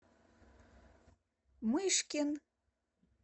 мышкин